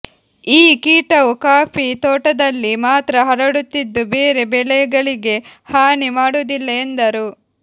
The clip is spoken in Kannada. ಈ ಕೀಟವು ಕಾಫಿ ತೋಟದಲ್ಲಿ ಮಾತ್ರ ಹರಡುತ್ತಿದ್ದು ಬೇರೆ ಬೆಳೆಗಳಿಗೆ ಹಾನಿ ಮಾಡುವುದಿಲ್ಲ ಎಂದರು